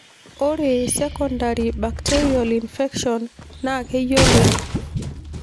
Ore secondary bacterial infection naa kiyoloi.